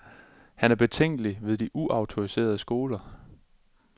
Han er betænkelig ved de uautoriserede skoler.